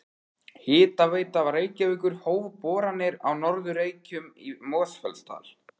Hitaveita Reykjavíkur hóf boranir á Norður Reykjum í Mosfellsdal.